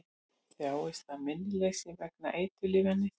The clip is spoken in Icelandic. Þjáist af minnisleysi vegna eiturlyfjaneyslu